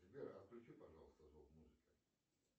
сбер отключи пожалуйста звук музыки